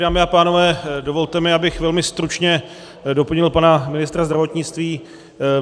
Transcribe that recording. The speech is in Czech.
Dámy a pánové, dovolte mi, abych velmi stručně doplnil pana ministra zdravotnictví.